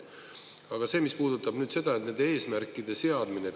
Aga see, mis puudutab nüüd seda, et nende eesmärkide seadmine.